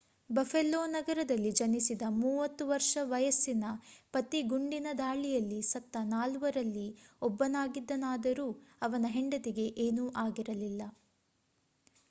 buffalo ನಗರದಲ್ಲಿ ಜನಿಸಿದ 30 ವರ್ಷ ವಯಸ್ಸಿನ ಪತಿ ಗುಂಡಿನ ದಾಳಿಯಲ್ಲಿ ಸತ್ತ ನಾಲ್ವರಲ್ಲಿ ಒಬ್ಬನಾಗಿದ್ದನಾದರೂ ಅವನ ಹೆಂಡತಿಗೆ ಏನೂ ಆಗಿರಲಿಲ್ಲ